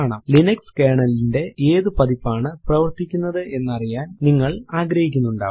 Linux kernel ലിന്റെ ഏതു പതിപ്പാണ് പ്രവർത്തിക്കുന്നത് എന്നറിയാൻ നിങ്ങൾ ആഗ്രഹിക്കുന്നുണ്ടാവും